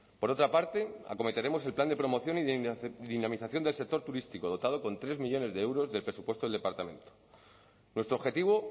por otra parte acometeremos el plan de promoción y dinamización del sector turístico dotado con tres millónes de euros del presupuesto del departamento nuestro objetivo